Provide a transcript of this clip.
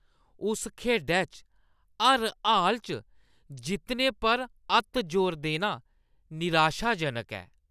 उस खेढै च हर हाल च जित्तने पर अत्त जोर देना निराशाजनक ऐ।